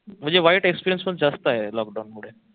म्हणजे वाईट experience पण जास्त आहे लॉकडाऊन मध्ये